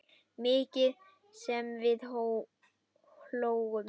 Mikið sem við hlógum.